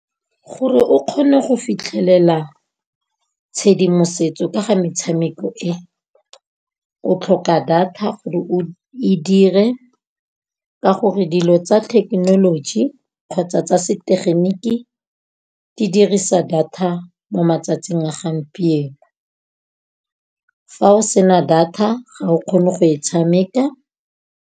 Gore o kgone go fitlhelela tshedimosetso ka ga metshameko e, o tlhoka data gore o e dire ka gore dilo tsa technology kgotsa tsa setegeniki di dirisa data mo matsatsing a gampieno. Fa o sena data ga o kgone go e tshameka.